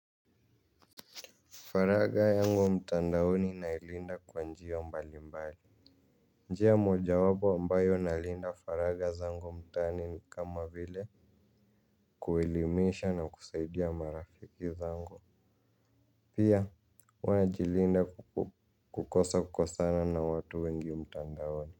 Faragha yangu mtandaoni na ilinda kwa njia mbali mbali. Njia moja wapo ambayo nalinda faragha zangu mtaani ni kama vile kuelimisha na kusaidia marafiki zangu. Pia huwa najilinda kukosa kukosana na watu wengi mtandaoni.